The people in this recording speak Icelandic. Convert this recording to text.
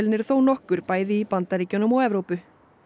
eru þónokkur bæði í Bandaríkjunum og Evrópu